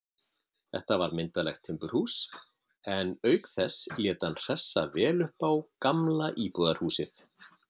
Þetta var myndarlegt timburhús, en auk þess lét hann hressa vel upp á gamla íbúðarhúsið.